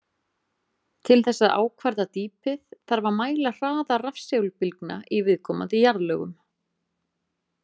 Til þess að ákvarða dýpið þarf að mæla hraða rafsegulbylgna í viðkomandi jarðlögum.